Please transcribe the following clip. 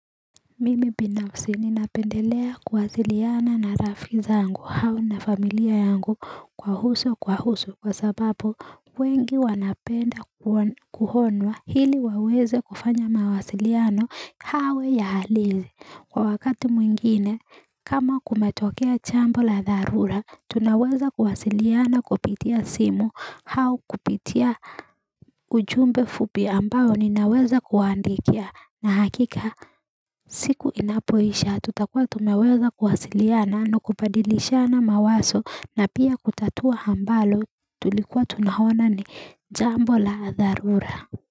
Mimi binafsi ninapendelea kuwasiliana na rafiki zangu hao na familia yangu kwa uso kwa uso kwa sabapo wengi wanapenda kuonwa ili waweze kufanya mawasiliano awe ya halisi kwa wakati mwingine kama kumetokea jambo la dharura tunaweza kuwasiliana kupitia simu au kupitia ujumbe mfupi ambao ninaweza kuandikia nahakika siku inapoisha tutakuwa tumeweza kuwasiliana na kubadilishana mawazo na pia kutatua ambalo tulikuwa tunaona ni jambo la dharura.